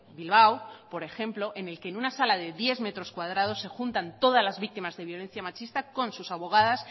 bilbao por ejemplo en el que en una sala de diez metros cuadrados se juntan todas las víctimas de violencia machista con sus abogadas